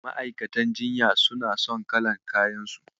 Ma'aukatan jinya suna son kalar kayansu.